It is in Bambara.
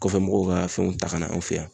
Kɔfɛ mɔgɔw ka fɛnw ta ka na an fɛ yan.